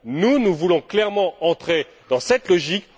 Nous, nous voulons clairement entrer dans cette logique.